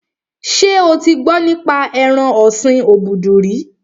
Ṣé o ti gbọ́ nípa ẹran ọ̀sin obudu rí?